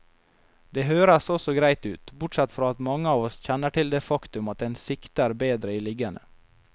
Det høres også greit ut, bortsett fra at mange av oss kjenner til det faktum at en sikter bedre i liggende.